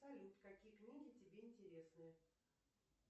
салют какие книги тебе интересны